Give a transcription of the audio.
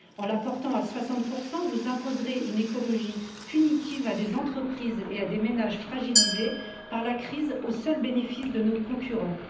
En la portant à 60 vous imposerez une écologie punitive à des entreprises et à des ménages fragilisés par la crise, au seul bénéfice de nos concurrents.